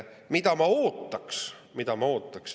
Mida ma ootan?